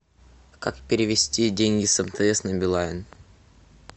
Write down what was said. как перевести деньги с мтс на билайн